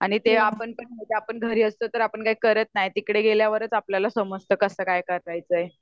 आणि ते आपण म्हणजे आपण घरी असलो की आपण काही करत नाही तिकडे गेल्या वरच आपल्याला कळत कस काय करायचय